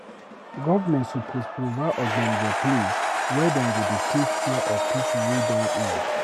Government suppose provide ogbonge place were dem go dey take care of pipo wey don old.